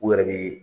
U yɛrɛ bi